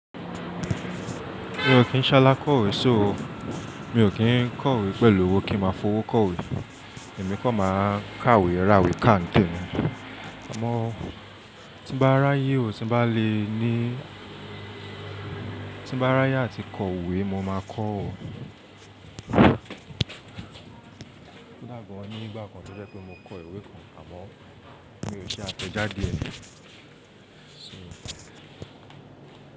Mi ò kín ṣàlà kọ̀wé sóòó, mi ò kín kọ̀wé pẹ̀lú owó kí máa fowó kọ̀wé èmi kọ̀ máa kàwé, ràwé káǹtẹ̀ ni. Àmọ́ tí bá ráyè ó ti bá le ní, tí bá ráyè àti kọ̀wé mo máa kọ̀ o. Lágbọ́n ni ìgbà kan tó jẹ́ pe mo kọ ìwé kan àmọ́ mi ò ṣe àtẹ̀jáde ẹ. So.